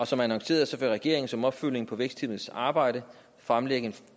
som annonceret vil regeringen som opfølgning på vækstteamets arbejde fremlægge en